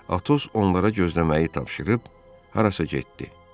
Atos onlara gözləməyi tapşırıb harasa getdi.